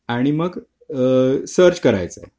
आणि मग सर्च करायचं